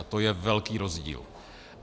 A to je velký rozdíl.